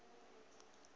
o be a sa e